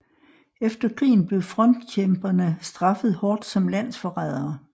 Efter krigen blev frontkjemperne straffet hårdt som landsforrædere